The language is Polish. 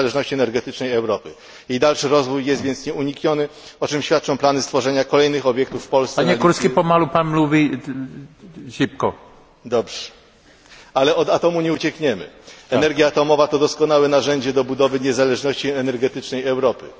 Energia atomowa to doskonałe narzędzie do budowy niezależności energetycznej Europy.